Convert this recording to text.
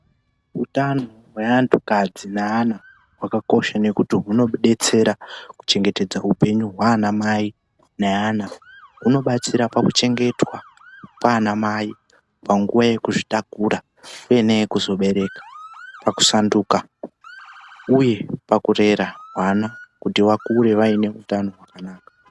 Utano hwaanhukadzi neana hwakakosha ngekuti hunotidetsera kuchengetedza upenyu hwaanamai neana. Hunobatsira pakuchengetwa kwaanamai panguwa yekuzvitakura uye neyekuzobereka ,pakusanduka uye pakurera vana kuti vakure vane utano hwakanaka